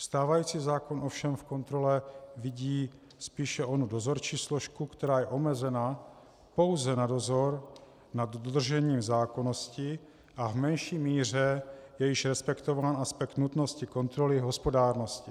Stávající zákon ovšem v kontrole vidí spíše onu dozorčí složku, která je omezena pouze na dozor nad dodržením zákonnosti, a v menší míře je již respektován aspekt nutnosti kontroly hospodárnosti.